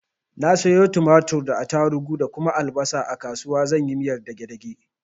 Na sayo tumatir da attarugu da kuma albasa a kasuwa zan yi miyar dage dage.